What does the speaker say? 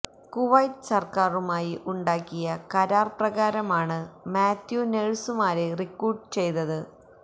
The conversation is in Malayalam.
കുവൈറ്റ് സർക്കാരുമായി ഉണ്ടാക്കിയ കരാർ പ്രകാരമാണ് മാത്യു നേഴ്സുമാരെ റിക്രൂട്ട് ചെയ്തത്